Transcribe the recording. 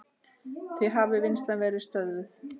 Því hafi vinnslan verið stöðvuð.